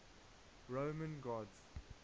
roman gods